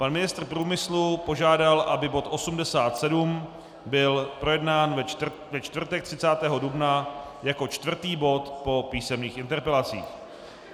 Pan ministr průmyslu požádal, aby bod 87 byl projednán ve čtvrtek 30. dubna jako čtvrtý bod po písemných interpelacích.